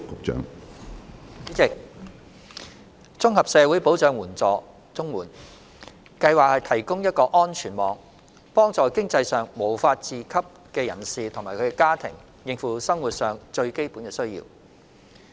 主席，綜合社會保障援助計劃提供一個安全網，幫助經濟上無法自給的人士及家庭應付生活上最基本的需要。